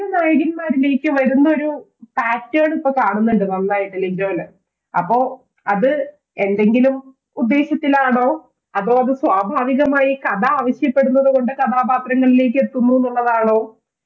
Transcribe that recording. നായകൻ മാരിലേക്ക് വരുന്ന ഒരു pattern ണിപ്പോ കാണുന്നുണ്ട് നന്നായിട്ട് ലിജോയില് അപ്പോ അത് ഏതെങ്കിലും ഉദ്ദേശത്തിലാണോ അതോ അത് സ്വാഭാവികമായി കഥ ആവശ്യപ്പെടുന്നു കൊണ്ട് കഥാപാത്രങ്ങളിലേക്ക് എത്തുന്നുന്നുള്ളതാണോ